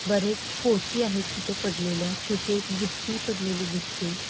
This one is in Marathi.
बरेच पोती आहेत तिथ पडलेल्या छोटी एक बुट्टी पडलेली दिसते.